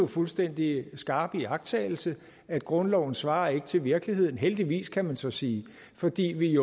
fuldstændig skarp iagttagelse at grundloven ikke svarer til virkeligheden heldigvis kan man så sige fordi vi